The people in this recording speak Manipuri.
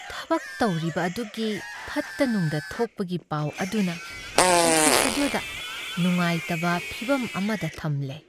ꯊꯕꯛ ꯇꯧꯔꯤꯕ ꯑꯗꯨꯒꯤ ꯐꯠꯇ ꯅꯨꯡꯗ ꯊꯣꯛꯄꯒꯤ ꯄꯥꯎ ꯑꯗꯨꯅ ꯑꯣꯐꯤꯁ ꯑꯗꯨꯗ ꯅꯨꯉꯥꯏꯇꯕ ꯐꯤꯚꯝ ꯑꯃꯗ ꯊꯝꯂꯦ꯫